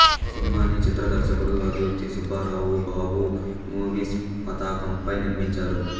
సినిమాని చిత్ర దర్శకుడు ఆదుర్తి సుబ్బారావు బాబూ మూవీస్ పతాకంపై నిర్మించారు